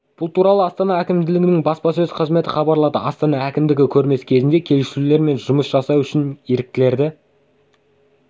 бұл туралы астана әкімдігінің баспасөз қызметі хабарлады астана әкімдігі көрмесі кезінде келушілермен жұмыс жасау үшін еріктілерді